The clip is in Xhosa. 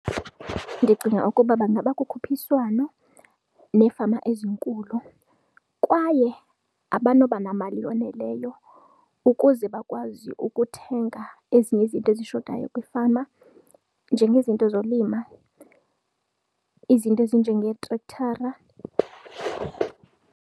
Ndicinga ukuba bangaba kukhuphiswano neefama ezinkulu kwaye abanoba namali yoneleyo ukuze bakwazi ukuthenga ezinye izinto ezishotayo kwiifama, njengezinto zolima izinto ezinjengeetrekthara.